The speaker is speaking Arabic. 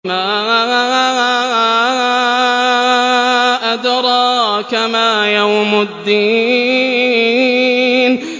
وَمَا أَدْرَاكَ مَا يَوْمُ الدِّينِ